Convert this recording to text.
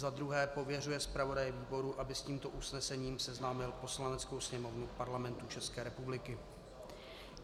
za druhé pověřuje zpravodaje výboru, aby s tímto usnesením seznámil Poslaneckou sněmovnu Parlamentu České republiky.